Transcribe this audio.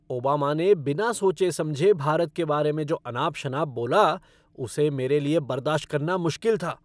Obama ने बिना सोचे समझे भारत के बारे में जो अनाप शनाप बोला उसे मेरे लिए बर्दाश्त करना मुश्किल था।